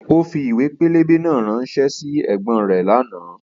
Ó fi ìwé pẹlẹbẹ náà ránṣẹ́ sí ẹ̀gbọ́n rẹ̀ lánàá